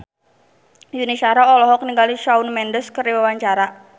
Yuni Shara olohok ningali Shawn Mendes keur diwawancara